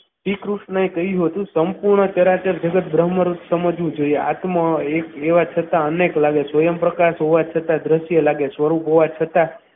શ્રી કૃષ્ણએ કહ્યું હતું સંપૂર્ણ સમજવું જોઈએ હાથમાં એક લેવા છતાં અનેક સ્વયં પ્રકાશ હોવા છતાં દ્રશ્ય લાગે સ્વરૂપ હોવા છતાં